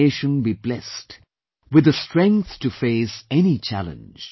May our nation be blessed with the strength to face any challenge